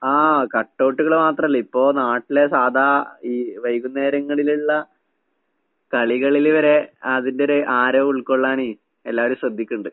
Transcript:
ആഹ് കട്ടൗട്ട്കള് മാത്രല്ല, ഇപ്പൊ നാട്ടില് സാധാ ഈ വൈകുന്നേരങ്ങളിലിള്ള കളികളില് വരെ അതിന്റൊരു ആരവുൾക്കൊള്ളാന് എല്ലാരും ശ്രദ്ധിക്ക്ണ്ട്.